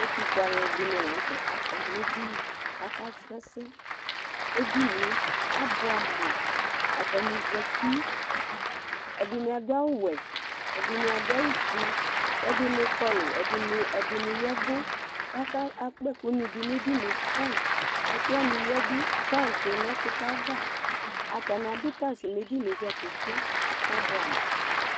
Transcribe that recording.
Ɛtʋfʋe aluɛɖìŋí la ŋtɛ aɖu akɔ ŋu ɛɖìní kʋ akasrɔ ɛsɛ Ɛɖìníe abʋɛ amu Ataŋi zɛti Ɛɖìní aɖu awu wɛ, ɛɖìní aɖu awu fʋe Ɛɖìní kɔlu kʋ ɛɖìní yavu Akpa ɛku ɖu ŋu ɛɖìní fine Ekʋwani yaɖu fine ŋu ɛkʋtɛ ava Ataŋi aɖu taj ŋu ɛɖìní dza ke ke kʋ abʋɛ amu